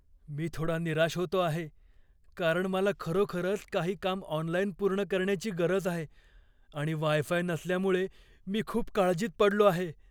"मी थोडा निराश होतो आहे कारण मला खरोखरच काही काम ऑनलाइन पूर्ण करण्याची गरज आहे, आणि वाय फाय नसल्यामुळे मी खूप काळजीत पडलो आहे".